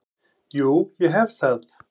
Jú, ég hef það.